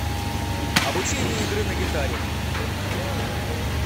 обучение игры на гитаре